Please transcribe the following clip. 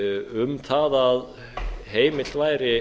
um það að heimilt væri